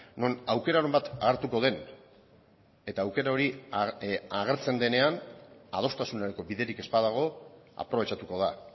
non aukeraren bat hartuko den eta aukera hori agertzen denean adostasunerako biderik ez badago aprobetxatuko da